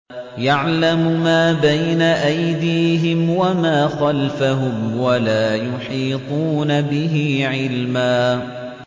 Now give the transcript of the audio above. يَعْلَمُ مَا بَيْنَ أَيْدِيهِمْ وَمَا خَلْفَهُمْ وَلَا يُحِيطُونَ بِهِ عِلْمًا